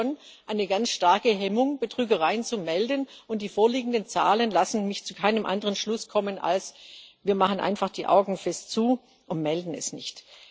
Da ist schon eine ganz starke Hemmung, Betrügereien zu melden, und die vorliegenden Zahlen lassen mich zu keinem anderen Schluss kommen, als zu der Einstellung Wir machen einfach die Augen fest zu und melden es nicht.